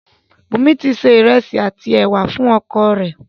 Bùńmi ti se ìrẹ̀sì àti ẹ̀wà fún oko rẹ̀.